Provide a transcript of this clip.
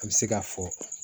An bɛ se k'a fɔ